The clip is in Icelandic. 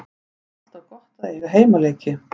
Það er alltaf gott að eiga heimaleiki.